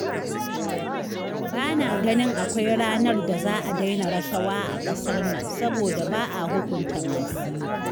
Ba na ganin akwai ranar da za a daina rashawa a ƙasar nan saboda ba a hukunta masu yi